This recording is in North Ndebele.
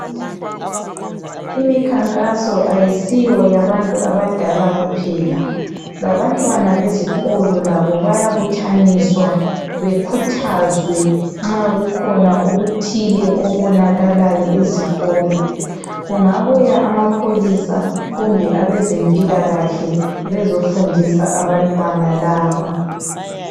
Imikhankaso ayisiyo yabantu abadala kuphela, labantwana bezikolo labo bayabuthaniswa bekhuthazwe nxa kukhona okuthile okonakalayo ezikolo. Kungabuya amapholisa kumbe abazempilakahle bezofundisa abantwana laba.